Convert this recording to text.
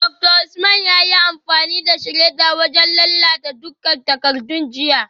Dr Usman yayi amfani da shredder wajen lalata dukkan takardun jiya